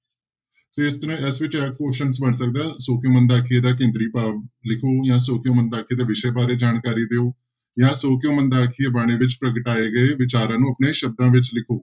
ਤੇ ਇਸ ਤਰ੍ਹਾਂ ਹੀ ਇਸ ਵਿੱਚ ਇਹ questions ਬਣ ਸਕਦਾ ਸੌ ਕਿਉਂ ਮੰਦਾ ਆਖੀਐ ਦਾ ਕੇਂਦਰੀ ਭਾਵ ਲਿਖੋ ਜਾਂ ਸੌ ਕਿਉਂ ਮੰਦਾ ਆਖੀਐ ਦੇ ਵਿਸ਼ੇ ਬਾਰੇ ਜਾਣਕਾਰੀ ਦਿਓ ਜਾਂ ਸਿਉਂ ਕਿਉਂ ਮੰਦਾ ਆਖੀਐ ਬਾਣੀ ਵਿੱਚ ਪ੍ਰਗਟਾਏ ਗਏ ਵਿਚਾਰਾਂ ਨੂੰ ਆਪਣੇ ਸ਼ਬਦਾਂ ਵਿੱਚ ਲਿਖੋ।